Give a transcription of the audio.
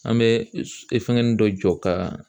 An bɛ fɛngɛnin dɔ jɔ ka